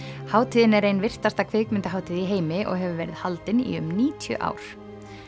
hátíðin er ein virtasta kvikmyndahátíð í heimi og hefur verið haldin í um níutíu ár